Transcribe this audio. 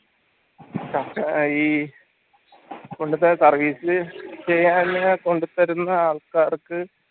ഈ service ചെയ്യാൻ കൊണ്ടുത്തരുന്ന ആൾക്കാർക്ക്